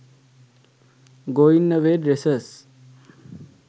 going away dresses